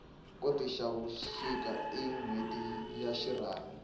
khotavuxika i nhweti ya xirhami